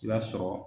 I b'a sɔrɔ